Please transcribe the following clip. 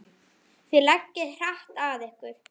Þið leggið hart að ykkur.